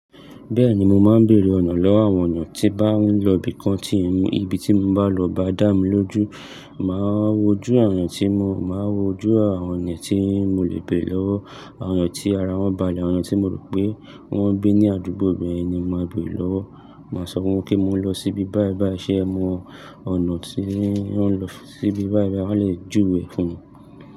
Bẹ́ẹ̀ni mo máa ń bèèrè ọ̀nà lọ́wọ́ àwọn èèyàn tí bá ń lọ ibìkan tí mi ibi tí mo bá lọ o bá dà mí lójú. Má wójú àwọb èèyàn tí mo, máa wójú àwọn èèyàn tí mo lè béèrè lọ́wọ́. Àwọn èèyàn tí ara wọn bàlẹ̀, àwọn èèyàn tí mo rò pé wọ́n ń gbé ní àdúgbò ibẹ̀ ni mo máa béèrè lọ́wọ́. Máa sọ fún wọn pé mo ń lọ síbi báì báì, ṣé ẹ mọ ọ̀nà tí ń lọ síbi báì báì? Wọ́n lè júwe fún mi.